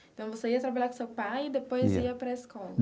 Então, você ia trabalhar com seu pai e depois ia para a escola?